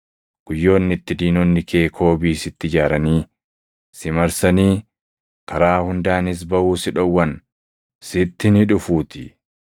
Guyyoonni itti diinonni kee koobii sitti ijaaranii, si marsanii, karaa hundaanis baʼuu si dhowwan sitti ni dhufuutii.